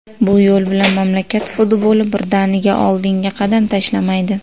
Bu yo‘l bilan mamlakat futboli birdaniga oldinga qadam tashlamaydi.